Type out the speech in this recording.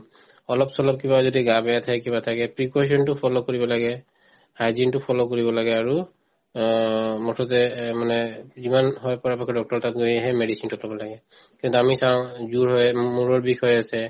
অলপ-চলপ কিবা যদি গা বেয়া থাকে কিবা থাকে precaution তো follow কৰিব লাগে hygiene তো follow কৰিব লাগে আৰু অ মুঠতে এহ্ মানে যিমান হয় পাৰে ভালকে doctor ৰৰ তাত গৈহে medicine তো খাব লাগে কিন্তু আমি চাওঁ জ্বৰ হৈয়ে মূৰৰ বিষ হৈ আছে